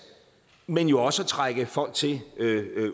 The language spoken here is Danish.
men jo også at trække folk til